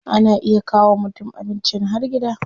Ana iya kawo wa mutum abincin har gida.